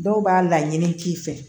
Dɔw b'a laɲini k'i fɛ